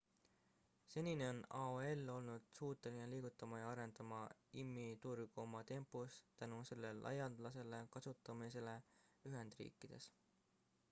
senini on aol olnud suuteline liigutama ja arendama im-i turgu oma tempos tänu selle laialdasele kasutamisele ühendriikides